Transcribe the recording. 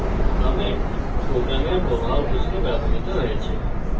comments program প্রবাহ বুঝতে ব্যবহৃত হয়েছে